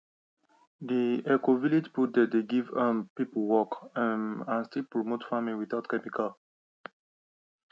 d ecovillage project dey give um people work um and still promote farming without chemical